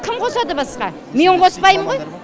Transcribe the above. кім қосады басқа мен қоспаймынғой